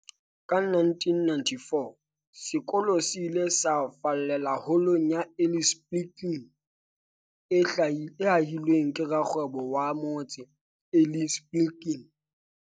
Ka 1994, sekolo se ile sa fallela Holong ya Eli Spilkin, e hahilweng ke rakgwebo wa motse, Eli Spilkin.